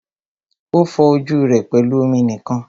O fọ ojú rẹ pẹlú omi nìkan.